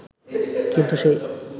কিন্তু সেই